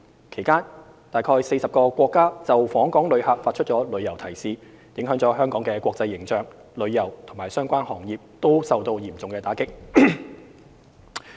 其間，約40個國家就訪港旅遊發出旅遊提示，影響了香港的國際形象，旅遊及相關行業均受到嚴重打擊。